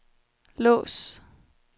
lås